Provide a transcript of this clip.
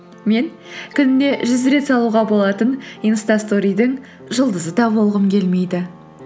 мен күніне жүз рет салуға болатын инстасторидің жұлдызы да болғым келмейді